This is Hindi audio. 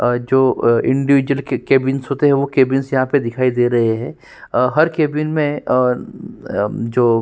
आ जो अ इंडिविजुअल के कैबिन्स होते है वो कैबिन्स यहां पे दिखाई दे रहे है अ हर केबिन में अ-अ जो --